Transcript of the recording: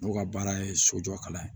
N'o ka baara ye sojɔ kalan ye